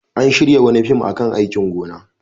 An shirya wani fim a kan aikin gona.